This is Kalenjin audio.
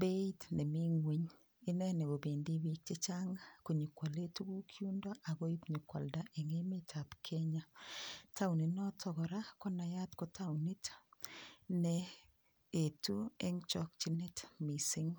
beit nemi ngweny ineni kobendi piik chechang konyekoole tukuk yundo akoib nyikwada eng emet ab Kenya taoninoto kora konayat ko taonit neetu eng chokchinet mising.